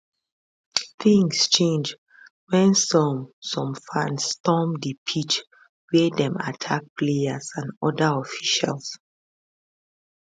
tins change wen some some fans storm di pitch wia dem attack players and oda officials